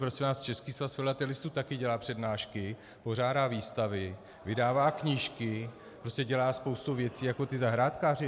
Prosím vás, Český svaz filatelistů také dělá přednášky, pořádá výstavy, vydává knížky, prostě dělá spoustu věcí jako ti zahrádkáři.